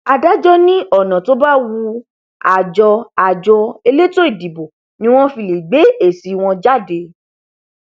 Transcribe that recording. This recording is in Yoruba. adájọ ní ọnà tó bá wu àjọ àjọ elétò ìdìbò ni wọn fi lè gbé èsì wọn jáde